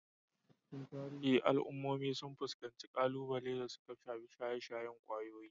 A cikin tarihi, al'ummomi sun fuskanci kalubale da suka shafi shaye-shayen kwayoyi,